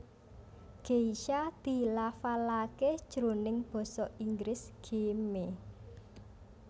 Geisha dilafalaké jroning basa Inggris gei may